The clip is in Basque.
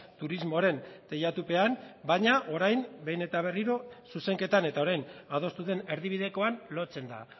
turismoaren teilatupean baina orain behin eta berriro zuzenketan eta orain adostu den erdibidekoan lotzen da